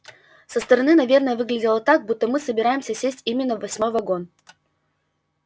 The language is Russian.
со стороны наверное выглядело так будто мы собираемся сесть именно в восьмой вагон